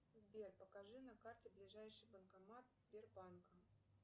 сбер покажи на карте ближайший банкомат сбербанка